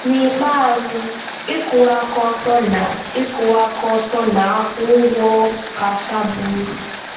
N'ikpeazụ, ịkwụwa aka ọtọ na ịkwụwa aka ọtọ na-akwụ ụgwọ kacha baa uru.